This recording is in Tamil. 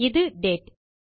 இது டேட்